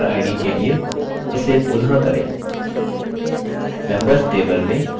memberid के लिए इसे पुनः करें